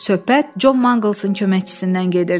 Söhbət Con Maqlesin köməkçisindən gedirdi.